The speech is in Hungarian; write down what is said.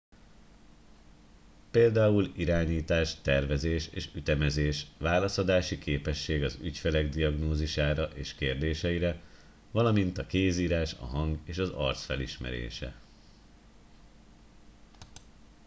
például irányítás tervezés és ütemezés válaszadási képesség az ügyfelek diagnózisára és kérdéseire valamint a kézírás a hang és az arc felismerése